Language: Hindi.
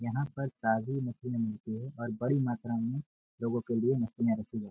यहां पर ताजी मछली मिलती है और बड़ी मात्रा में लोगों के लिए मछलियां रखी जाती हैं।